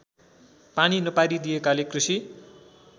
पानी नपारिदिएकाले कृषि